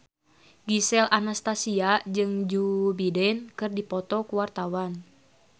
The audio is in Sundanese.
Gisel Anastasia jeung Joe Biden keur dipoto ku wartawan